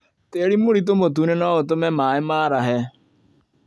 Tĩri mũritũ mũtune noũtũme maĩ marahe